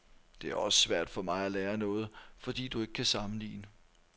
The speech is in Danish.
Det er også svært for mig at lære noget, fordi du ikke kan sammenligne.